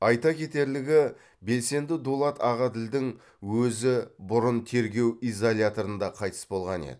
айта кетерлігі белсенді дулат ағаділдің өзі бұрын тергеу изоляторында қайтыс болған еді